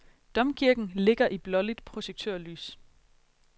Domkirken ligger i blåligt projektørlys.